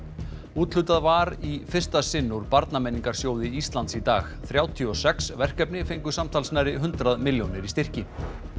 úthlutað var í fyrsta sinn úr Íslands í dag þrjátíu og sex verkefni fengu samtals nærri hundrað milljónir í styrki